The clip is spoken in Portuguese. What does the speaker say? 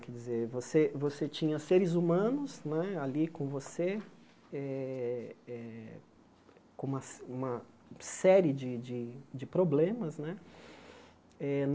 Quer dizer, você você tinha seres humanos né ali com você eh eh, com uma uma série de de de problemas, né? Eh